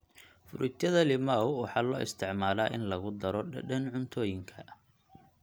Fruityada limau waxaa loo isticmaalaa in lagu daro dhadhan cuntooyinka.